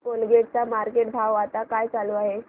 Colgate चा market भाव आता काय चालू आहे